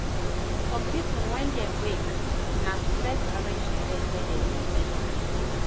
Some pipo when dem wake, na to first arrange the bed wey dem take sleep